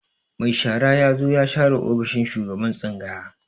Mai shara ya zo ya share ofishin shugaban tsangaya.